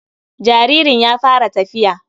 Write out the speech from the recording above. jaririn ya fara tafiya.